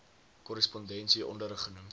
korrespondensie onderrig genoem